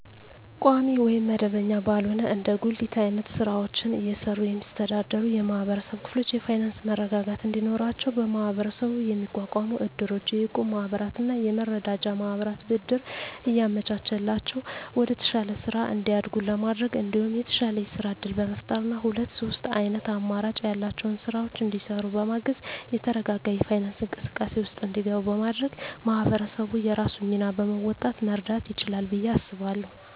ቋሚ ወይም መደበኛ ባልሆነ እንደ ጉሊት አይነት ስራወችን እየሰሩ የሚስተዳደሩ የማህበረሰብ ክፍሎች የፋይናንሰ መረጋጋት እንዲኖራቸው በመሀበረሰቡ የሚቋቋሙ እድሮች፣ የእቁብ ማህበራትና የመረዳጃ ማህበራት ብድር እያመቻቸላቸው ወደተሻለ ስራ እንዲያድጉ በማድረግ እንዲሁም የተሻለ የስራ እድል በመፍጠርና ሁለት ሶስት አይነት አማራጭ ያላቸውን ስራወች እንዲሰሩ በማገዝ የተረጋጋ የፋይናንስ እንቅስቃሴ ውስጥ እንዲገቡ በማድረግ ማህበረሰቡ የራሱን ሚና በመወጣት መርዳት ይችላል ብየ አስባለሁ።